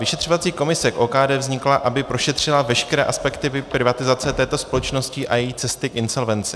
Vyšetřovací komise k OKD vznikla, aby prošetřila veškeré aspekty privatizace této společnosti a její cesty k insolvenci.